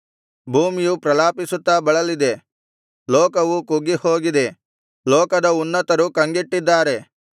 ಭೂಮಿಯು ಪ್ರಲಾಪಿಸುತ್ತಾ ಬಳಲಿದೆ ಲೋಕವು ಕುಗ್ಗಿಹೋಗಿದೆ ಲೋಕದ ಉನ್ನತರು ಕಂಗೆಟ್ಟಿದ್ದಾರೆ